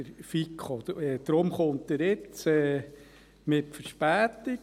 Deshalb kommt er jetzt, mit Verspätung.